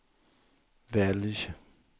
välj